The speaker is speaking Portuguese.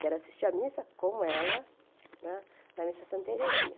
Quero assistir à missa com ela, na na missa Santa Terezinha.